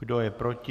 Kdo je proti?